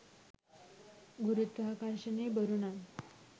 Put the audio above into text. ගුරුත්වාකර්ශණය බොරු නම්